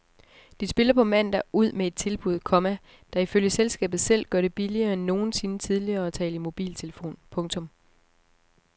De spiller på mandag ud med et tilbud, komma der ifølge selskabet selv gør det billigere end nogensinde tidligere at tale i mobiltelefon. punktum